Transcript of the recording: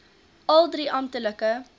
al drie amptelike